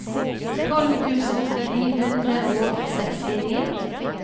tolv tusen ni hundre og sekstini